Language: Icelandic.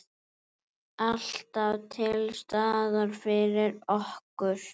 Alltaf til staðar fyrir okkur.